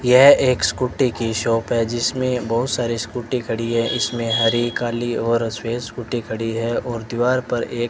यह एक स्कूटी की शॉप है जिसमें बहुत सारे स्कूटी खड़ी है इसमें हरी काली और श्वेत स्कूटी खड़ी है और दीवार पर एक--